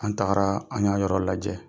An tagara an y'a yɔrɔ lajɛ,